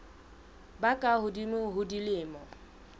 ba ka hodimo ho dilemo